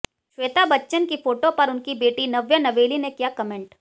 श्वेता बच्चन की फोटो पर उनकी बेटी नव्या नवेली ने किया कमेंट